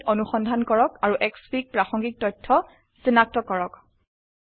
ইন্টাৰনেটে অনুসন্ধান কৰক আৰু এসএফআইজি প্ৰাসঙ্গিক তথ্য সিনাক্ত কৰক